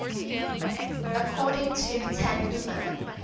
according to tanhuma